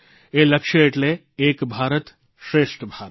એ લક્ષ્ય એટલે એક ભારતશ્રેષ્ઠ ભારત